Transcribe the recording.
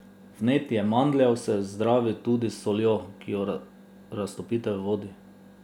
Vnetje mandljev se zdravi tudi s soljo, ki jo raztopite v vodi.